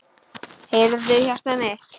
Heyrðu, hjartað mitt.